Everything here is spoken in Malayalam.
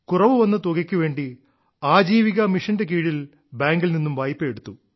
കുറവു വന്ന തുകയ്ക്കു വേണ്ടി ആജീവിക മിഷൻന്റെ കീഴിൽ ബാങ്കിൽ നിന്നും വായ്പയെടുത്തു